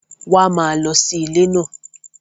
Wá má lọ sí ilé náà